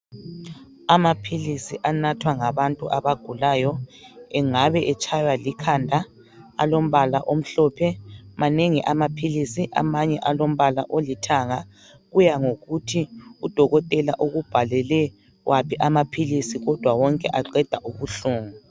Amapills anathwa ngabantu abagulayo engabe etshaywa likhanda alombala omhlophe manengi amapills amanye alombala olithanga kuyangokuthi udokotela ukubhalelel aphi amapills kodwa wonke aqeda ubuhlungu